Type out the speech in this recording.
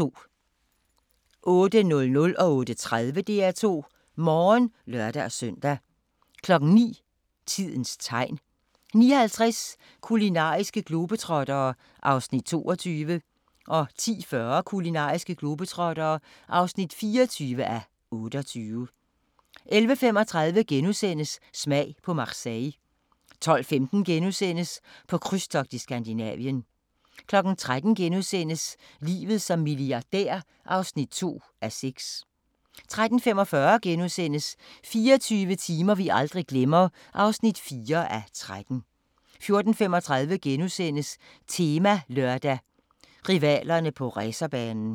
08:00: DR2 Morgen (lør-søn) 08:30: DR2 Morgen (lør-søn) 09:00: Tidens Tegn 09:50: Kulinariske globetrottere (23:28) 10:40: Kulinariske globetrottere (24:28) 11:35: Smag på Marseille * 12:15: På krydstogt i Skandinavien * 13:00: Livet som milliardær (2:6)* 13:45: 24 timer vi aldrig glemmer (4:13)* 14:35: Temalørdag: Rivalerne på racerbanen *